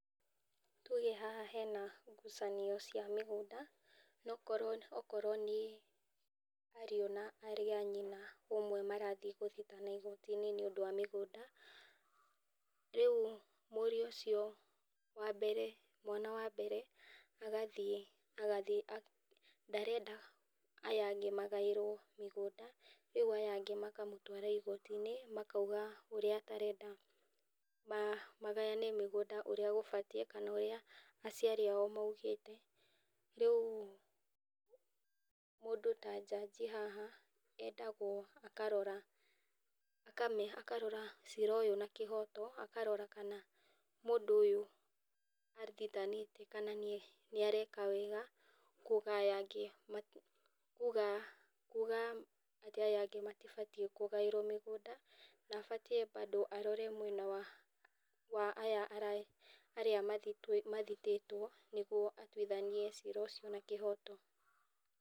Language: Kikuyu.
Tuge haha hena ngucanio cia mĩgũnda akorwo nĩ ariũ na arĩ anyina arĩa marathiĩ gũthitana igooti-inĩ nĩ ũndũ wa mĩgũnda, rĩu mũirũ ũcio wa mbere mwana wa mbere agathiĩ, ndarenda aya angĩ magaĩrwo mũgũnda, rĩu aya angĩ makamũtwara igoti-inĩ makauga ũrĩa atarenda magayane mĩgũnda kũrĩa gũbatie, kana ũrĩa aciari ao maugĩtez rĩu mũndũ ta njaji haha endagwo akarora, akarora ciira ũyũ na kĩhota akarora kana mũndũ ũyũ athitanĩte kana nĩareka wega kwoguo aya angĩ, kuuga aya angĩ matibatie kũgaĩrwo mũgũnda na batie kũrora badũ mwena ũyũ wa aya arĩa mathitĩtwo nĩguo atuithanie ciira ũcio na kĩhoto.